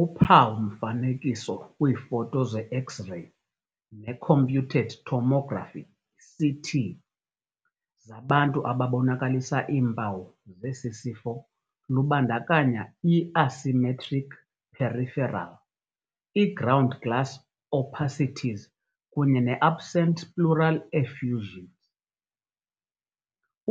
Uphawu-mfanekiso kwiifoto ze-X-reyi neComputed Tomography, CT, zabantu ababonakalisa iimpawu zesisifo lubandakanya i-asymmetric peripheral, iground glass opacities kunye ne-absent pleural effusions.